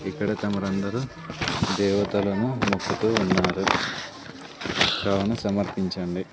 ఇక్కడ తామరందరూ దేవతలను మొక్కుతూ ఉన్నారు శ్రవను సమర్పించండి.